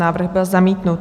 Návrh byl zamítnut.